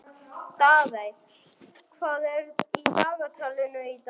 Daðey, hvað er í dagatalinu í dag?